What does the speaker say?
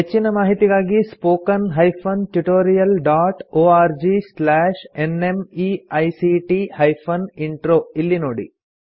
ಹೆಚ್ಚಿನ ಮಾಹಿತಿಗಾಗಿ spoken hyphen tutorial dot org slash NMEICT hyphen intro ಇಲ್ಲಿ ನೋಡಿ